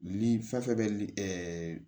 Ni fɛn fɛn bɛ li